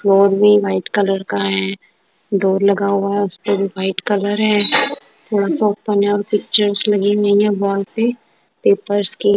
Flour भी white colour की है। डोर लगा हुआ है उसपे भी व्हाइट कलर है थोड़ा सा ओपन हैं और पिक्चर्स लगी हुई हैं वॉल पे पेपर्स की।